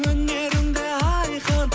өнерім де айқын